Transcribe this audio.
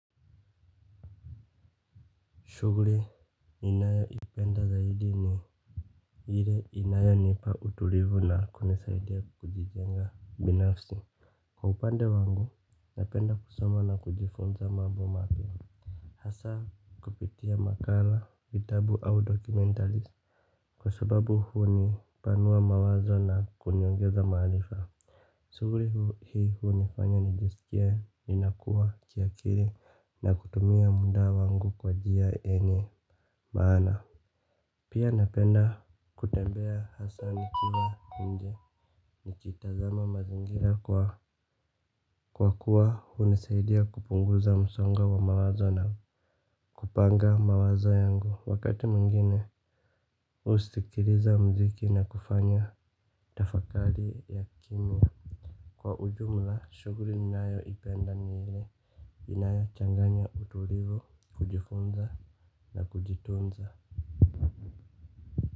Shughuli ninayoipenda zaidi ni ile inayo nipa utulivu na kunisaidia kujijenga binafsi kwa upande wangu napenda kusoma na kujifunza mambo mapya. Hasa kupitia makala, vitabu au dokumentari kwa sababu huni panua mawazo na kuniongeza maaarifa. Shughuli hii hunifanya nijisikie ninakua kiakili na kutumia muda wangu kwajia enye maana. Pia napenda kutembea hasa nikiwa nje nikitazama mazingira kwa kwa kuwa hunisaidia kupunguza msongo wa mawazo na kupanga mawazo yangu. Wakati mwingine usikiliza mziki na kufanya tafakari ya kimya. Kwa ujumla shughuli ninayo ipenda ni ile inayo changanya utulivu, kujifunza na kujitunza.